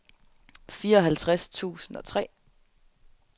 fireoghalvtreds tusind og tre